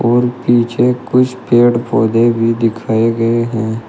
और पीछे कुछ पेड़ पौधे भी दिखाए गए हैं।